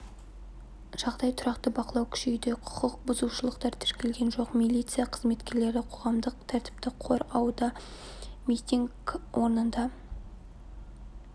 жағдай тұрақты бақылау күшейді құқық бұзушылықтар тіркелген жоқ милиция қызметкерлері қоғамдық тәртіпті қор ауда митинг орнында